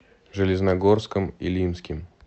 железногорском илимским